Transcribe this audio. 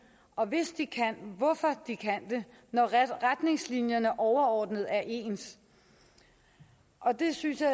og hvis de kan hvorfor de så kan det når retningslinjerne overordnet er ens det synes jeg